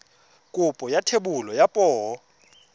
kopo ya thebolo ya poo